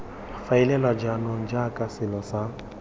faeliwa jaanong jaaka selo sa